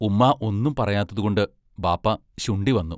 ഉമ്മാ ഒന്നും പറയാത്തതുകൊണ്ട് ബാപ്പാ ശുണ്ഠിവന്നു.